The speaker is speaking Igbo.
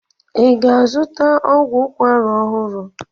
I ga-azụta ọgwụ ukwara ọhụrụ?